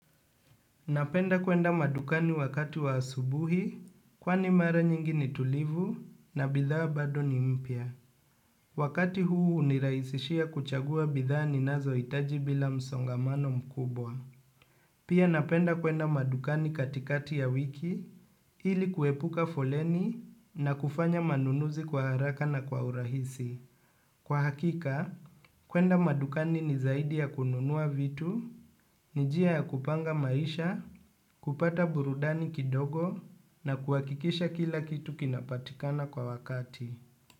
Napenda kwenda madukani wakati wa asubuhi, kwani mara nyingi ni tulivu na bidhaa bado ni mpya. Wakati huu hunirahisishia kuchagua bidhaa ninazo hitaji bila msongamano mkubwa. Pia napenda kwenda madukani katikati ya wiki, ili kuepuka foleni na kufanya manunuzi kwa haraka na kwa urahisi. Kwa hakika, kwenda madukani ni zaidi ya kununua vitu, ni njia ya kupanga maisha, kupata burudani kidogo na kuhakikisha kila kitu kinapatikana kwa wakati.